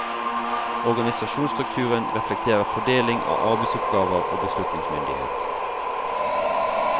Organisasjonsstrukturen reflekterer fordeling av arbeidsoppgaver og beslutningsmyndighet.